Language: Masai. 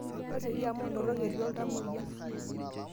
tasioki amuu ntorok etii oltamoyia